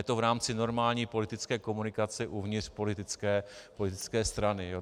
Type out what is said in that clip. Je to v rámci normální politické komunikace uvnitř politické strany.